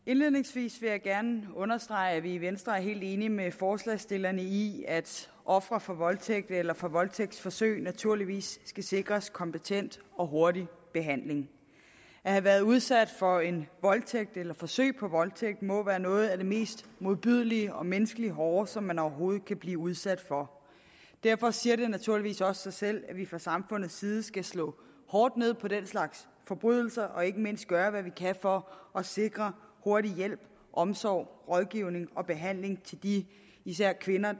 indledningsvis vil jeg gerne understrege at vi i venstre er helt enige med forslagsstillerne i at ofre for voldtægt eller for voldtægtsforsøg naturligvis skal sikres kompetent og hurtig behandling at have været udsat for en voldtægt eller forsøg på voldtægt må være noget af det mest modbydelige og menneskeligt hårde som man overhovedet kan blive udsat for derfor siger det naturligvis også sig selv at vi fra samfundets side skal slå hårdt ned på den slags forbrydelser og ikke mindst gøre hvad vi kan for at sikre hurtig hjælp omsorg rådgivning og behandling til de især kvinder